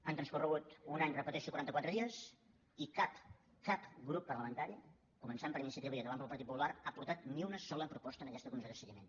ha transcorregut un any ho repeteixo i quaranta quatre dies i cap cap grup parlamentari començant per iniciativa i acabant pel partit popular ha aportat ni una sola proposta en aquesta comissió de seguiment